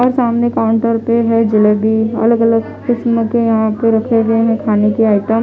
और सामने काउन्टर पे है जलेबी अलग अलग किस्म के यहाँ पर रखे हुए है खाने के आइटम --